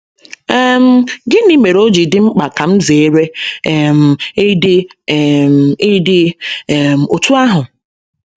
um Gịnị mere o ji dị mkpa ka m zere um ịdị um ịdị um otú ahụ?